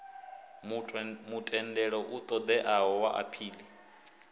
mutendelo u ṱoḓeaho wa aphili